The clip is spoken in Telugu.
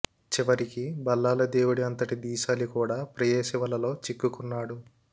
చివరికి భళ్లాల దేవుడి అంతటి ధీశాలి కూడా ప్రేయసి వలలో చిక్కుకున్నాడు